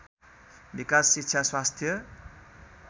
विकास शिक्षा स्वास्थ्य